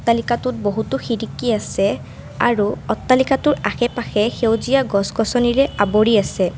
অট্টালিকাটোত বহুতো খিৰিকী আছে আৰু অট্টালিকাটোৰ আশে-পাশে সেউজীয়া গছ- গছনিৰে আৱৰি আছে।